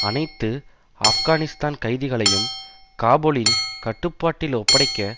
அனைத்து ஆப்கானிஸ்தான் கைதிகளையும் காபூலின் கட்டுப்பாட்டில் ஒப்படைக்க